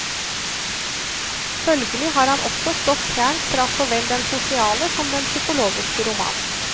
Følgelig har han også stått fjernt fra så vel den sosiale som den psykologiske roman.